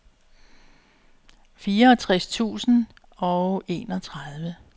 fireogtres tusind og enogtredive